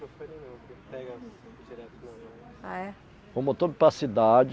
ah é Fomos todos para a cidade.